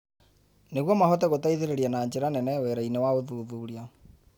Nĩguo mahote gũteithĩrĩria na njĩra nene wĩra-inĩ wa ũthuthuria.